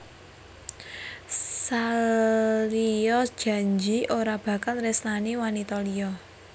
Salya janji ora bakal nresnani wanita liya